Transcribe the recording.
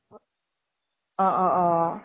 অহ অহ অহ